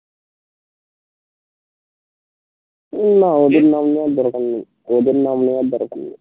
না ওদের নাম নেয়ার দরকার নেই ওদের নাম নেয়ার দরকার নেই